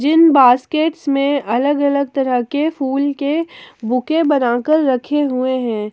जिन basket में अलग अलग तरह के फूल के बुके बनाकर रखे हुए हैं।